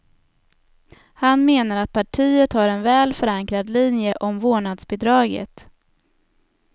Han menar att partiet har en väl förankrad linje om vårdnadsbidraget.